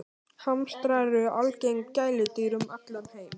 Hamstrar eru algeng gæludýr um allan heim.